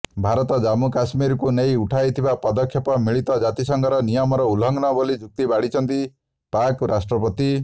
ଭାରତ ଜାମ୍ମୁକାଶ୍ମୀରକୁ ନେଇ ଉଠାଇଥିବା ପଦକ୍ଷେପ ମିଳିତ ଜାତିସଂଘର ନିୟମର ଉଲଂଘନ ବୋଲି ଯୁକ୍ତି ବାଢିଛନ୍ତି ପାକ୍ ରାଷ୍ଟ୍ରପତି